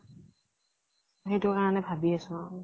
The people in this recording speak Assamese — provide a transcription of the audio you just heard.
সেইতো কাৰণে ভাবি আছো আৰু